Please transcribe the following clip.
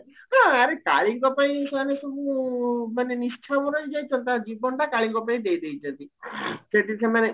ହାଁ ଆରେ କାଳୀଙ୍କ ପାଇଁ ସେମାନେ ସବୁ ମାନେ ହେଇଯାଇଚନ୍ତି ତାଙ୍କ ଜୀବନଟା କାଳୀଙ୍କ ପାଇଁ ଦେଇ ଦେଇଚନ୍ତି ସେଠି ସେମାନେ